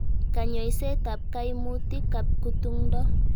Kanyoiset ap kaimutik ap kutung'ndo.